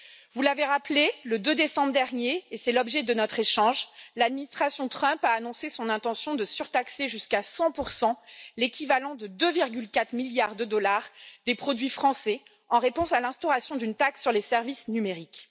Vous l'avez rappelé, le 2 décembre dernier, et c'est l'objet de notre échange, l'administration Trump a annoncé son intention de surtaxer jusqu'à 100 pour l'équivalent de 2,4 milliards de dollars, des produits français, en réponse à l'instauration d'une taxe sur les services numériques.